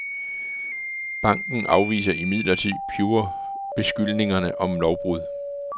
Banken afviser imidlertid pure beskyldningerne om lovbrud.